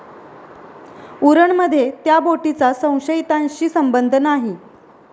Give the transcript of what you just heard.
उरणमध्ये त्या बोटीचा संशयितांशी संबंध नाही!